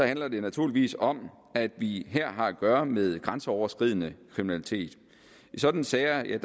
handler det naturligvis om at vi her har at gøre med grænseoverskridende kriminalitet i sådanne sager